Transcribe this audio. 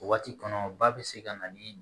O waati kɔnɔ ba bɛ se ka na ni